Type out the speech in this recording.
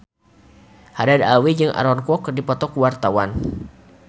Haddad Alwi jeung Aaron Kwok keur dipoto ku wartawan